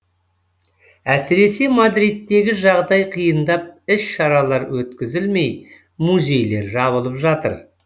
әсіресе мадридтегі жағдай қиындап іс шаралар өткізілмей музейлер жабылып жатыр